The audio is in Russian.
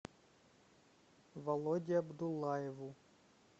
володе абдуллаеву